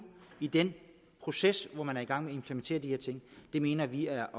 i den proces hvor man er i gang med at implementere de her ting mener vi er